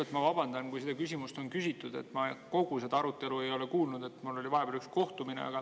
Kõigepealt ma vabandan, kui seda küsimust on küsitud, ma kogu seda arutelu ei kuulnud, mul oli vahepeal üks kohtumine.